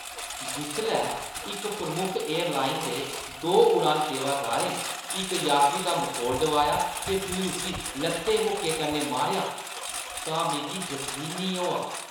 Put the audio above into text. जिसलै इक प्रमुख एयरलाइना दे दो उड़ान सेवादारें इक यात्री दा मखौल डुआया ते फ्ही उस्सी लत्तें-मुक्कें कन्नै मारेआ तां मिगी जकीन नेईं होआ।